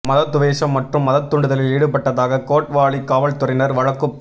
மத துவேஷம் மற்றும் மதத் தூண்டுதலில் ஈடுபட்டதாக கோட் வாலி காவல்துறையினர் வழக்குப்